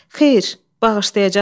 Xeyr, bağışlayacaqsız.